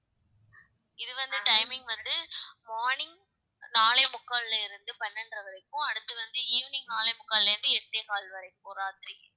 இது வந்து timing வந்து morning நாலே முக்கால்ல இருந்து பன்னெண்டரை வரைக்கும் அடுத்து வந்து evening நாலே முக்கால்ல இருந்து எட்டே கால் வரைக்கும் ராத்திரி